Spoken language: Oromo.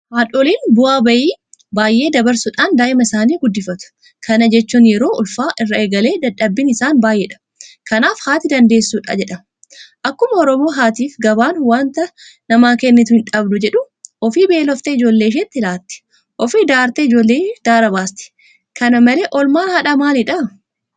Haadholiin bu'aa bayii baay'ee dabarsuudhaan daa'ima isaanii guddifatu. Kana jechuun yeroo ulfaa irraa eegalee dadhabbiin isaanii baay'eedha. Kanaaf haati dandeessuudha jedhama. Akkuma Oromoo Haatiifi Gabaan waanta namaa kennitu hidhabdu jedhu. Ofii beeloftee ijoollee isheetii laatti. Ofii daartee ijoolleeshii daara baasti. Kana malee oolmaan haadhaa maalidha?